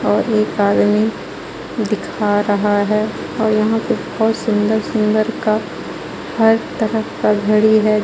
और एक आदमी दिखा रहा है और यहां पर बहुत सुंदर सुंदर का हर तरह का घड़ी है.